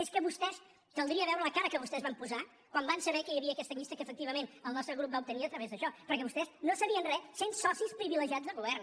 és que vostès caldria veure la cara que vostès van posar quan van saber que hi havia aquesta llista que efectivament el nostre grup va obtenir a través d’això perquè vostès no sabien res sent socis privilegiats del govern